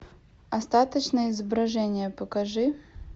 остаточные изображения покажи